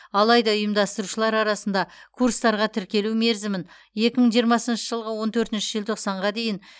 алайда ұйымдастырушылар арасында курстарға тіркелу мерзімін екі мың жиырмасыншы жылғы он төртінші желтоқсанға дейін